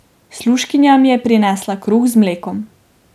Služkinja mi je prinesla kruh z mlekom.